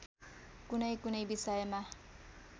कुनैकुनै विषयमा